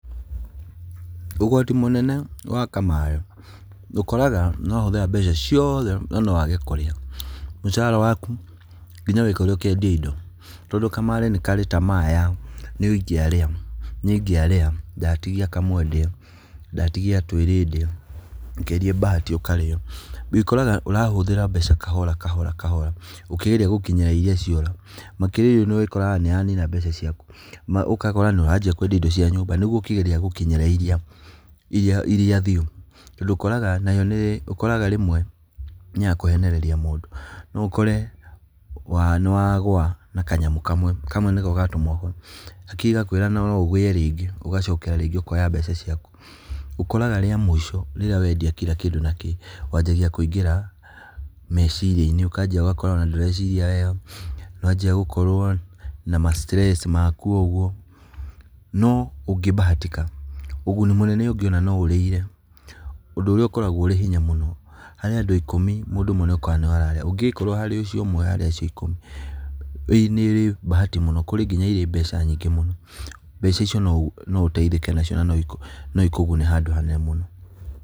Ũgwati mũnene wa kamarĩ, ũkoraga nĩ wahũthĩra mbeca cioothe na nowage kũrĩa. Mũcara waku ngina wĩkore ũkĩendia indo. Tondũ kamarĩ ni karĩ tamaa ya nĩ ingĩarĩa, ndatigia kamwe ndĩe, ndatigia tũĩrĩ ndĩe, wageria bahati ũkarĩo. Wĩkoraga ũrahũthĩra mbeca kahora, kahora, kahora ũkĩgeria gũkinyĩra iria ciora. Makĩria nĩ ũkoraga nĩ yanina mbeca ciaku, ma ũkakora nĩ wanjia kwendia indo cia nyũmba nĩguo ũkĩgeria gũkinyĩra iria, iria thiru. Tondũ ũkoraga nayo rĩmwe nĩ ya kũhenereria mũndũ, no ũkore nĩ wagũa na kanyamũ kamwe, kamwe nĩko gatũma ũgwe, hakiri igakwĩra ũrĩe rĩngĩ. Ũgacokera rĩngĩ ũkoya mbeca ciaku, ũkoraga rĩa mũico rĩrĩa wendia kila kĩndũ na kĩĩ, wanjagia kũingĩra meciria-inĩ, ũkanjia ũgakora ona ndũreciria wega, nĩ wanjia gũkorwo na mastress maku ũguo, no ũngĩbahatika, ũguni mũnene ũngĩona no ũreire, ũndũ ũrĩa ũkoragwo ũrĩ hinya mũno. Harĩ andũ ikũmi, mũndũ ũmwe nĩwe wĩkoraga nĩwe ũrarĩa, ũngĩkora harĩ ũcio ũmwe harĩ acio ikũmi nĩ mbahati muno, kũrĩ nginya irĩ mbeca nyingĩ mũno, mbeca icio no ũteithĩke nacio na nocikũgune handũ hanene mũno.